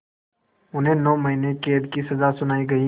उन्हें नौ महीने क़ैद की सज़ा सुनाई गई